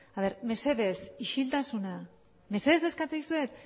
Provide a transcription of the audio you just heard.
mesedez isiltasuna mesedez eskatzen dizuet